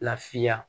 Lafiya